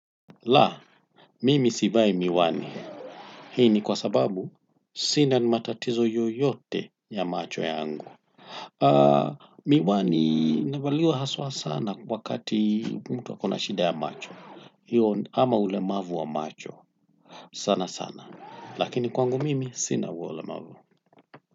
La, mimi sivai miwani hii ni kwa sababu sina matatizo yoyote ya macho yangu. Miwani inavalia haswa sana wakati mtu ako na shida ya macho ama ulemavu wa macho sanasana lakini kwangu mimi sina huo ulemavu.